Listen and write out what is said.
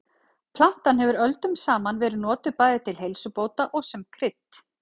Plantan hefur öldum saman verið notuð bæði til heilsubóta og sem krydd.